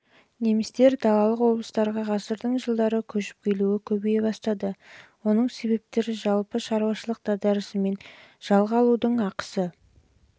немістер далалық облыстарға ғасырдың жылдары көшіп келуі көбейе бастады оның себептері жалпы шаруашылық дағдарысы мен жалға алудың ақысының